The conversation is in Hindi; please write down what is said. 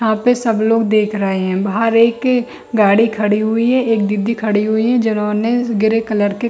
यहाँ पे सब लोग देख रहें हैं बाहर एक गाड़ी खड़ी हुई है एक दीदी खड़ी हुई है जिन्होंने ग्रे कलर की --